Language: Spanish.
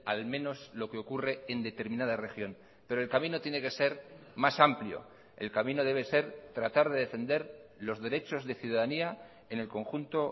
al menos lo que ocurre en determinada región pero el camino tiene que ser más amplio el camino debe ser tratar de defender los derechos de ciudadanía en el conjunto